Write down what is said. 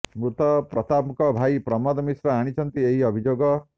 ମୃତ ପ୍ରତାପଙ୍କ ଭାଇ ପ୍ରମୋଦ ମିଶ୍ର ଆଣିଛନ୍ତି ଏହି ଅଭିଯୋଗ